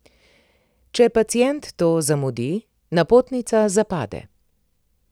Če pacient to zamudi, napotnica zapade.